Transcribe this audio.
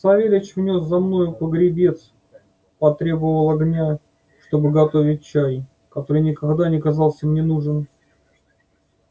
савельич внёс за мною погребец потребовал огня чтоб готовить чай который никогда не казался мне нужен